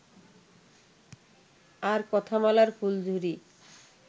আর কথামালার ফুলঝুরি